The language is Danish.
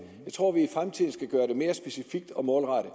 jeg tror vi i fremtiden skal gøre det mere specifikt og målrettet